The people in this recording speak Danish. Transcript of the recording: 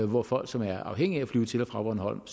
hvor folk som er afhængige af at flyve til og fra bornholm